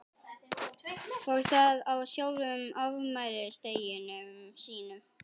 Og það á sjálfum afmælisdeginum sínum.